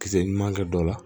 Kisɛ ɲuman kɛ dɔ la